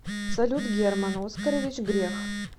салют герман оскарович грех